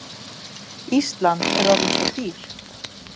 Ísland er orðið svo dýrt.